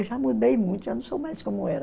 Eu já mudei muito, já não sou mais como era.